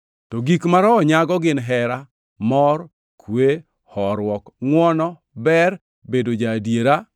To gik ma Roho nyago gin hera, mor, kwe, horuok, ngʼwono, ber, bedo ja-adiera,